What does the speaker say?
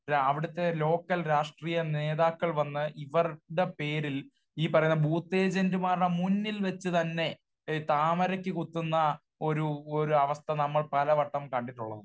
അവിടത്തെ ലോക്കൽ രാഷ്ട്രീയ നേതാക്കൾ വന്നു ഇവരുടെ പേരിൽ, ഈ പറയുന്ന ബൂത്ത് ഏജന്റുമാരുടെ മുന്നിൽ വച്ച് തന്നെ താമരക്ക് കുത്തുന്ന ഒരു ഒരവസ്ഥ നമ്മൾ പല വട്ടം കണ്ടിട്ടുള്ളതാണ്.